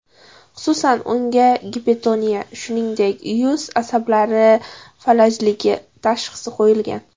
Xususan, unga gipertoniya, shuningdek, yuz asablari falajligi tashxisi qo‘yilgan.